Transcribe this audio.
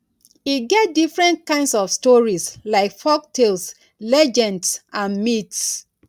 e get different kinds of stories like folktales legends and myths